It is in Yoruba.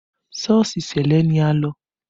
Sọ́ọ̀sì ṣẹlẹ ni a lọ